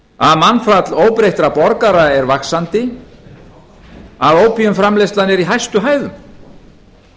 að mannfall óbreyttra borgara er vaxandi að ópíumframleiðslan er í hæstu hæðum